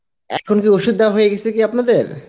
এখন কি ওষুধ দেয়া হয়ে গেছে কি আপনাদের?